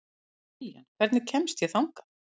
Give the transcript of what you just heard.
Liljan, hvernig kemst ég þangað?